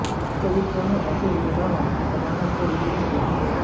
चरित्रों में ऐसे विरोधाभास ने कथानक को विकीर्ण किया है